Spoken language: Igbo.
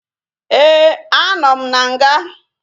Éè, a nọ m n'nga